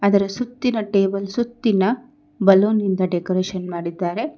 ಅದರ ಸುತ್ತಿನ ಟೇಬಲ್ ಸುತ್ತಿನ ಬಲೂನ್ ಇಂದ ಡೆಕೋರೇಷನ್ ಮಾಡಿದ್ದಾರೆ.